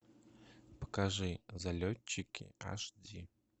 покажи залетчики аш ди